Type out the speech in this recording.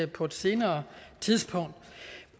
på et senere tidspunkt